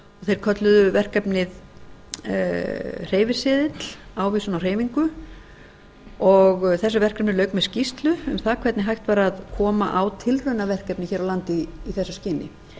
þeir kölluðu verkefnið hreyfiseðill ávísun á hreyfingu þessu verkefni lauk með skýrslu um það hvernig hægt væri að koma á tilraunaverkefni hér á landi í þessu skyni